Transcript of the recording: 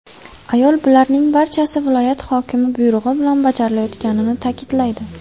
Ayol bularning barchasi viloyat hokimi buyrug‘i bilan bajarilayotganini ta’kidlaydi.